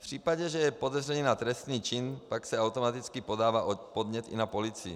V případě, že je podezření na trestný čin, pak se automaticky podává podnět i na policii.